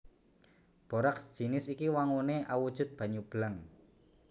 Boraks jinis iki wanguné awujud banyu bleng